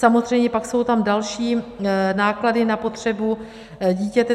Samozřejmě pak jsou tam další náklady na potřebu dítěte.